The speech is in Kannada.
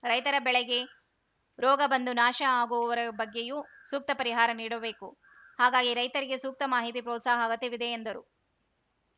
ರೈತರ ಬೆಳೆಗೆ ರೋಗ ಬಂದು ನಾಶ ಆಗುವುವರ ಬಗ್ಗೆಯೂ ಸೂಕ್ತ ಪರಿಹಾರ ನೀಡಬೇಕು ಹಾಗಾಗಿ ರೈತರಿಗೆ ಸೂಕ್ತ ಮಾಹಿತಿ ಪ್ರೋತ್ಸಾಹ ಅಗತ್ಯವಿದೆ ಎಂದರು